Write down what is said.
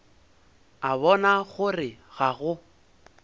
a bona gore ga go